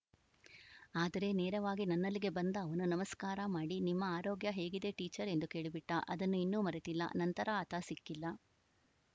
ಆದರೆ ನೇರವಾಗಿ ನನ್ನಲ್ಲಿಗೆ ಬಂದ ಅವನು ನಮಸ್ಕಾರ ಮಾಡಿ ನಿಮ್ಮ ಆರೋಗ್ಯ ಹೇಗಿದೆ ಟೀಚರ್‌ ಎಂದು ಕೇಳಿಬಿಟ್ಟ ಅದನ್ನು ಇನ್ನೂ ಮರೆತಿಲ್ಲ ನಂತರ ಆತ ಸಿಕ್ಕಿಲ್ಲ